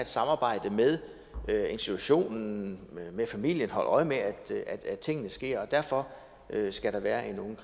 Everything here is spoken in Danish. samarbejde med institutionen og med familien og holde øje med at tingene sker og derfor skal der være en